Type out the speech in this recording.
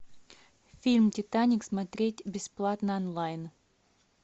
фильм титаник смотреть бесплатно онлайн